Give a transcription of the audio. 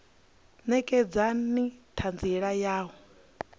ṋekedza na ṱhanziela ya u